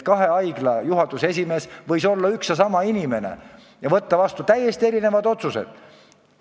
Kahe haigla juhatuse esimees võis olla üks ja sama inimene ja võtta vastu täiesti erinevaid otsuseid.